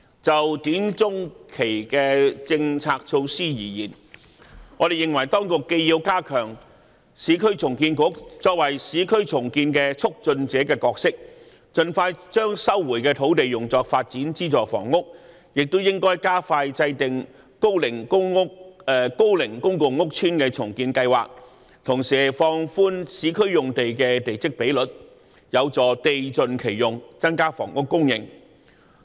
就短、中期政策措施而言，我們認為當局既要加強市區重建局作為市區重建的"促進者"角色，盡快將收回的土地用作發展資助房屋，也應加快制訂高齡公共屋邨重建計劃，同時放寬市區用地的地積比率，有助地盡其用，增加房屋供應。